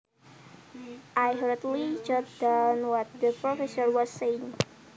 I hurriedly jotted down what the professor was saying